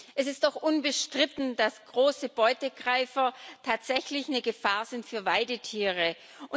Es ist doch unbestritten, dass große Beutegreifer tatsächlich eine Gefahr für Weidetiere sind.